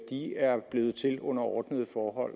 de er blevet til under ordnede